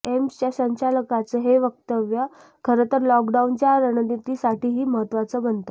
एम्सच्या संचालकांचं हे वक्तव्य खरंतर लॉकडाऊनच्या रणनीतीसाठीही महत्वाचं बनतं